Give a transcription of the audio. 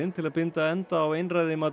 til að binda enda á einræði